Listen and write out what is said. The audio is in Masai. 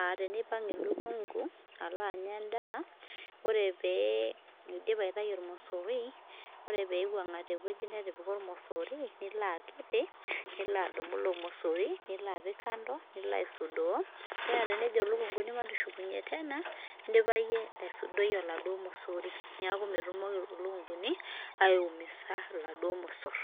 aateneipang eelukungu alo anyaa indaa, ore pee eidip aitai irmosorui ,ore peiwang'a te weji netipika irmosoroi nilo akiti, nilo adumu ilo irmosori nilo apik kando niko aisudoo naa tenejo lukunguni matushukunye tena indipa iye aisudoii elado irmosori, neaku metumoki lukungui aiumisa enado irmosor.